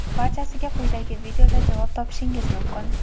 Barchasiga quyidagi videoda javob topishingiz mumkin!.